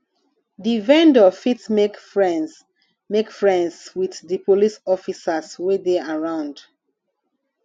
di vendor fit make friends make friends with di police officers wey dey around